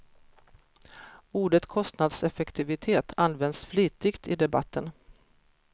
Ordet kostnadseffektivitet används flitigt i debatten.